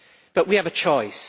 But we have a choice.